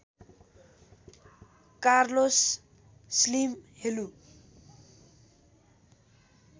Carlos Slim हेलु